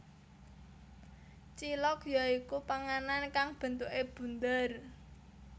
Cilok ya iku panganan kang bentuke bunder